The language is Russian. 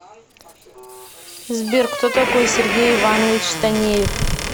сбер кто такой сергей иванович танеев